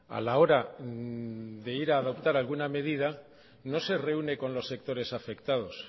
a la hora de ir a adoptar alguna medida no se reúne con los sectores afectados